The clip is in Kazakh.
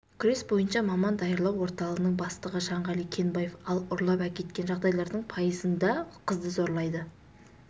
күрес бойынша маман даярлау орталығының бастығы жанғали кенбаев ал ұрлап әкеткен жағдайлардың пайызында қызды зорлайды